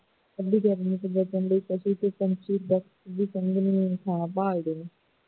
ਇਨੀ ਗਰਮੀ ਤੋਂ ਬਚਣ ਲਈ ਪੰਛੀ ਬਸ ਸੰਘਣੀ ਛਾਂ ਭਾਲਦੇ ਨੇ